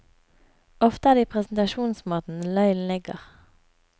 Ofte er det i presentasjonsmåten løgnen ligger.